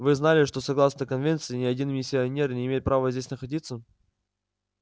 вы знали что согласно конвенции ни один миссионер не имеет права здесь находиться